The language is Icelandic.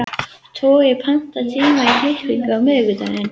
Toggi, pantaðu tíma í klippingu á miðvikudaginn.